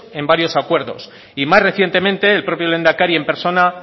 en varios acuerdos y más recientemente el propio lehendakari en persona